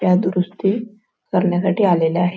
त्या दुरुस्ती करण्या साठी आलेल्या आहे.